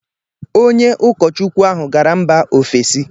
onye ụkọchukwu ahụ gara mba ofesi.